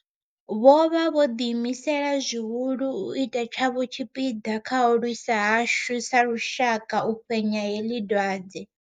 Vho vha vho ḓiimisela zwihulu u ita tshavho tshipiḓa kha u lwisa hashu sa lushaka u fhenya heḽi dwadze.